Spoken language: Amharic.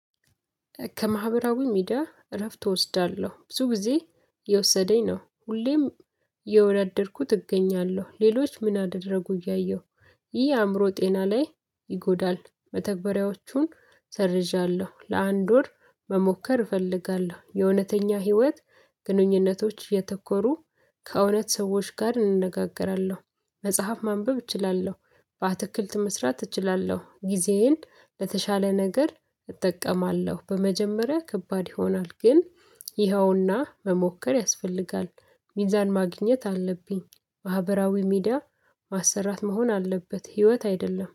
ከማህበራዊ ሚዲያ እረፍት እወስዳለሁ ብዙ ጊዜ እየወሰደኝ ነው። ሁሌም የወዳደርኩ እገኛለሁ ሌሎች ምን አደረጉ እያየሁ ይህ አእምሮ ጤና ላይ ይጎዳል። መተግበሪያዎቹን ሰርዣለሁ ለአንድ ወር መሞከር እፈልጋለሁ። የእውነተኛ ህይወት ግንኙነቶች የተኮሩ ከእውነት ሰዎች ጋር እንነጋገራለሁ። መጽሐፍ ማንበብ እችላለሁ። በአትክልት መስራት እችላለሁ ጊዜዬን ለተሻለ ነገር እጠቀማለሁ። በመጀመሪያ ከባድ ይሆናል ግን ይኸውና መሞከር ያስፈልጋል። ሚዛን ማግኘት አለብኝ። ማህበራዊ ሚዲያ ማሰራት መሆን አለበት። ህይወት አይደለም